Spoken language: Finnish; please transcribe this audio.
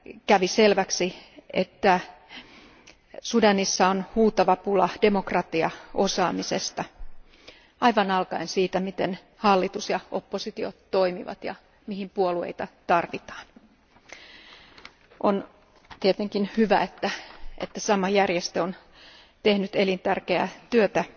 Kävi selväksi, että Sudanissa on huutava pula demokratiaosaamisesta alkaen aivan siitä, miten hallitus ja oppositio toimivat ja mihin puolueita tarvitaan. On tietenkin hyvä, että sama järjestö on tehnyt elintärkeää työtä